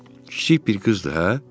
Kiçik bir qızdır hə?